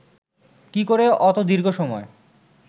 কী করে অত দীর্ঘ সময়